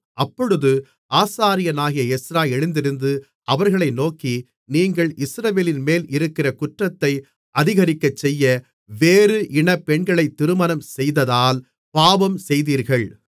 அப்பொழுது ஆசாரியனாகிய எஸ்றா எழுந்திருந்து அவர்களை நோக்கி நீங்கள் இஸ்ரவேலின்மேல் இருக்கிற குற்றத்தை அதிகரிக்கச்செய்ய வேறு இனப் பெண்களைத் திருமணம்செய்ததால் பாவம் செய்தீர்கள்